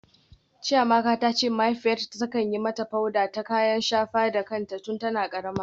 Chiamaka ta ce mahaifiyarta ta kan yi mata powder ta kayan shafa da kanta tun tana karama.